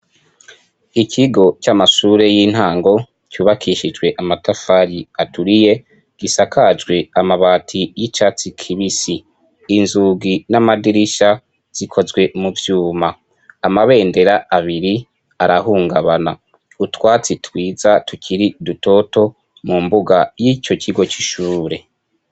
Ikigo c'amashure y'intango cubakishijwe amatafari aturiye, gisakajwe amabati y'icatsi kibis,i inzugi n'amadirisha zikozwe mu vyuma. Amabendera abiri arahungabana utwatsi twiza tukiri dutoto mu mbuga y'ico kigo c'ishure.